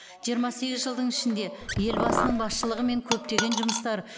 жиырма сегіз жылдың ішінде елбасының басшылығымен көптеген жұмыстар